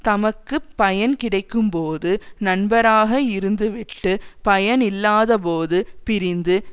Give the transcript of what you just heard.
தமக்கு பயன்கிடைக்கும்போது நண்பராக இருந்துவிட்டு பயனில்லாதபோது பிரிந்து